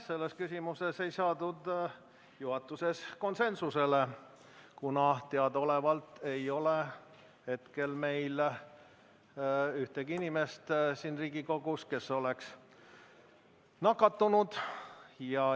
Selles küsimuses ei saadud juhatuses konsensusele, kuna teadaolevalt ei ole meil hetkel siin Riigikogus ühtegi inimest, kes oleks nakatunud.